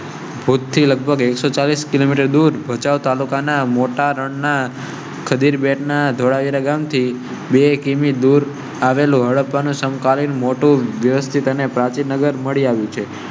થી લગભગ એકસો ચાલીસ કિલોમીટર દૂર ભચાઉ તાલુકાના મોટા રણ ના ખડીર બેટ ના ધોળાવીરા ગામ થી બે કિમી. દૂર આવેલો અને સમ કાલીન મોટો વ્યવસ્થિત અને પ્રાચીનગરમાં મળી આવ્યો છે.